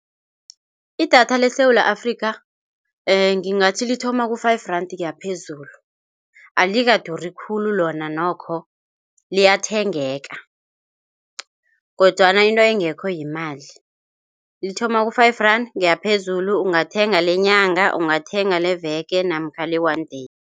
Idatha leSewula Afrika ngingathi lithoma ku-five rand kuyaphezulu, alikaduri khulu lona nokho liyathengeka kodwana into engekho yimali. Lithoma ku-five rand kuyaphezulu ungathenga lenyanga, ungathenga leveke namkha le-one day.